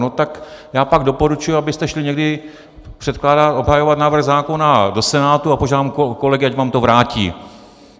No tak já pak doporučuji, abyste šli někdy předkládat, obhajovat návrh zákona do Senátu, a požádám kolegy, ať vám to vrátí.